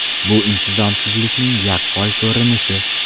Bu intizomsizlikning yaqqol ko‘rinishi.